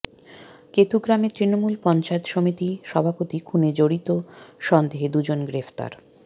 কেতুগ্রামে তৃণমূল পঞ্চায়েত সমিতি সভাপতি খুনে জড়িত সন্দেহে দুজন গ্রেফতার